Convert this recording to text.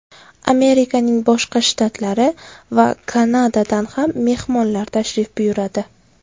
Amerikaning boshqa shtatlari va Kanadadan ham mehmonlar tashrif buyuradi.